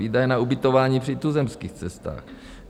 Výdaje na ubytování při tuzemských cestách.